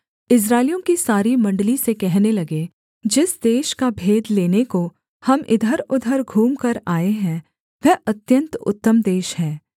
इस्राएलियों की सारी मण्डली से कहने लगे जिस देश का भेद लेने को हम इधरउधर घूमकर आए हैं वह अत्यन्त उत्तम देश है